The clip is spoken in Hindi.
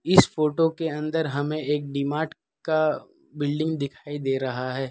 इस फोटो के अंदर हमें एक डि मार्ट का बिल्डिंग दिखाई दे रहा है।